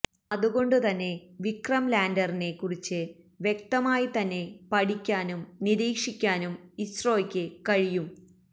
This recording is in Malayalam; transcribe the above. അതുകൊണ്ട് തന്നെ വിക്രം ലാൻഡറിനെ കുറിച്ച് വ്യക്തമായി തന്നെ പഠിക്കാനും നിരീക്ഷിക്കാനും ഇസ്രോയ്ക്ക് കഴിയും